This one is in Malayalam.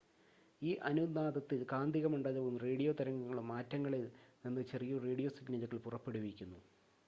ഈ അനുനാദത്തിൽ കാന്തിക മണ്ഡലവും റേഡിയോ തരംഗങ്ങളും ആറ്റങ്ങളിൽ നിന്ന് ചെറിയ റേഡിയോ സിഗ്‌നലുകൾ പുറപ്പെടുവിപ്പിക്കുന്നു